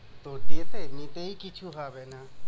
তো যেতে নিতেই কিছু হবে না।